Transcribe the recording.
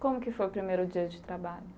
Como que foi o primeiro dia de trabalho?